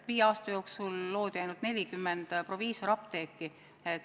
Viie aasta jooksul loodi ainult 40 proviisoriapteeki.